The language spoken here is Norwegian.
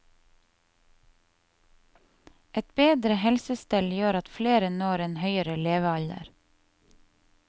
Et bedre helsestell gjør at flere når en høyere levealder.